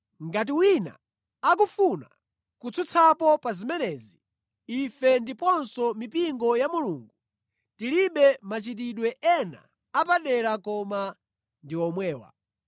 Ngati wina akufuna kutsutsapo pa zimenezi, ife ndiponso mipingo ya Mulungu tilibe machitidwe ena apadera koma ndi omwewa.